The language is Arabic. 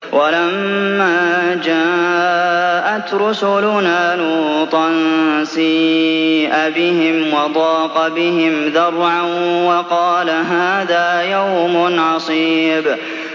وَلَمَّا جَاءَتْ رُسُلُنَا لُوطًا سِيءَ بِهِمْ وَضَاقَ بِهِمْ ذَرْعًا وَقَالَ هَٰذَا يَوْمٌ عَصِيبٌ